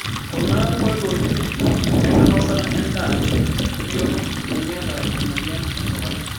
Kuna nkoitoi enkinosata endaa bioto tiniata emoyian esukari.